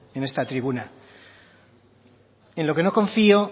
en esta tribuna en lo que no confío